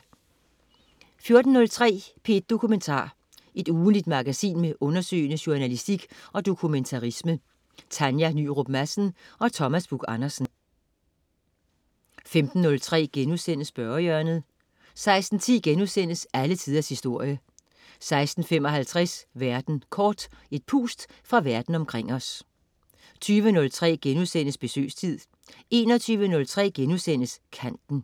14.03 P1 Dokumentar. Ugentligt magasin med undersøgende journalistik og dokumentarisme. Tanja Nyrup Madsen og Thomas Buch-Andersen 15.03 Spørgehjørnet* 16.10 Alle Tiders Historie* 16.55 Verden kort. Et pust fra verden omkring os 20.03 Besøgstid* 21.03 Kanten*